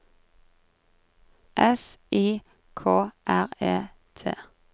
S I K R E T